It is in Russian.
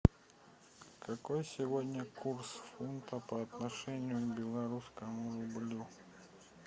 какой сегодня курс фунта по отношению к белорусскому рублю